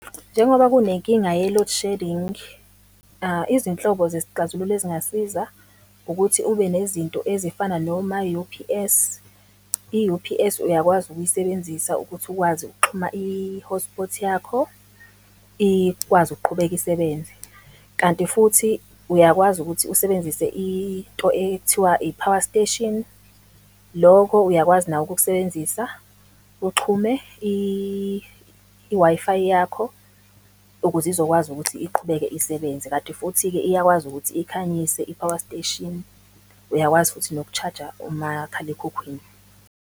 Njengoba kunenkinga ye-load shedding, izinhlobo zesixazululo ezingasiza, ukuthi ube nezinto ezifana noma-U_P_S. I-U_P_S uyakwazi ukuyisebenzisa ukuthi ukwazi ukuxhuma i-hotspot yakho, ikwazi ukuqhubeka isebenze. Kanti futhi uyakwazi ukuthi usebenzise into ekuthiwa i-power station, loko uyakwazi nako ukukusebenzisa, uxhume i-Wi-Fi yakho, ukuze izokwazi ukuthi iqhubeke isebenze. Kanti futhi-ke iyakwazi ukuthi ikhanyise i-power station. Uyakwazi futhi noku-charge-a umakhalekhukhwini.